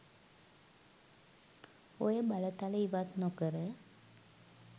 ඔය බලතල ඉවත් නොකර